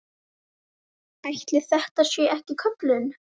Ætli þetta sé ekki köllun?